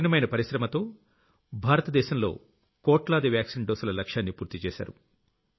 కఠినమైన పరిశ్రమతో భారత దేశంలో కోట్లాది వాక్సీన్ డోసుల లక్ష్యాన్ని పూర్తి చేశారు